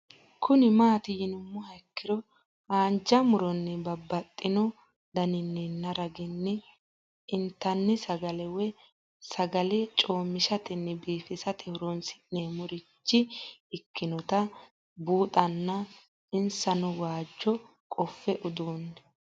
Kuni mati yinumoha ikiro hanja muroni babaxino daninina ragini intani sagale woyi sagali comishatenna bifisate horonsine'morich ikinota bunxana insano waajo qofe udune